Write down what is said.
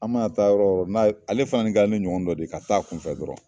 An man'a taa yɔrɔ n'a ye, ale fana ni kɛra ne ɲɔgɔn dɔ de ye, ka taa a kunfɛ dɔrɔn.